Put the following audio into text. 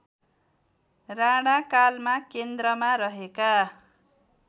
राणाकालमा केन्द्रमा रहेका